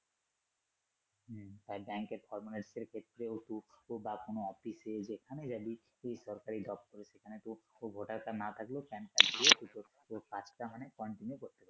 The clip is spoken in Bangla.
হম ব্যাংকের formalities এর ক্ষেত্রে বা কোন অফিসে যেখানে যাবি তুই সরকারি job করি সেখানেও ভোটার কার্ড না থাকলেও Pan card দিয়ে তুই তোর পুরো কাজটা মানে continue করতে পারবি।